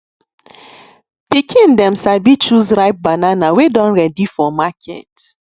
pikin dem sabi choose ripe banana wey don ready for market